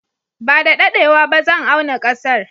Ba da daɗewa ba zan auna ƙasar.